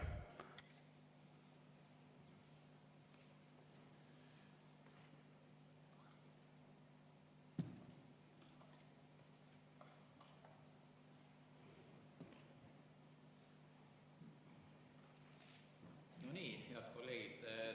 Head kolleegid!